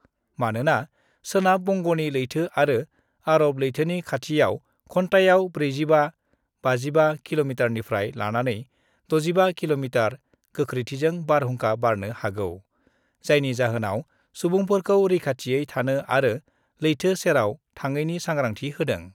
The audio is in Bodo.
मानोना सोनाब बंग'नि लैथो आरो आर'ब लैथोनि खाथियाव घन्टायाव 45-55 किल'मिटारनिफ्राय लानानै 65 किल'मिटार गोख्रैथिजों बारहुंखा बारनो हागौ, जायनि जाहोनाव सुबुंफोरखौ रैखाथियै थानो आरो लैथो सेराव थाङैनि सांग्रांथि होदों।